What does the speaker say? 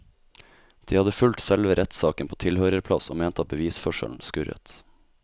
De hadde fulgt selve rettssaken på tilhørerplass og mente at bevisførselen skurret.